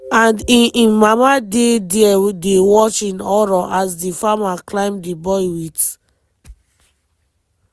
and in in mama dey dia dey watch in horror as di farmer climb di boy wit